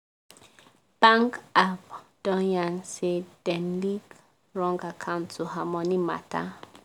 bank app don yan say dem link wrong account to her money matter.